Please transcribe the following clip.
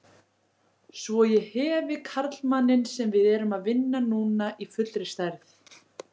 Svo ég hefi karlmanninn sem við erum að vinna núna í fullri stærð.